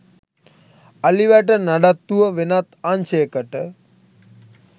අලිවැට නඩත්තුව වෙනත් අංශයකට